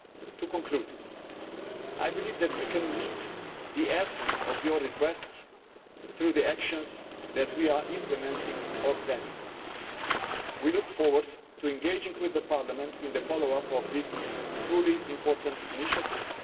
To conclude, I believe that we can meet the essence of your requests through the actions that we are implementing or planning. We look forward to engaging with Parliament in the follow up of this truly important initiative.